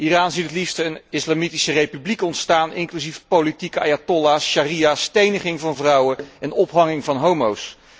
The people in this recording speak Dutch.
Iran ziet het liefst een islamitische republiek ontstaan inclusief politieke ayatollahs, sharia, steniging van vrouwen en ophanging van homo's.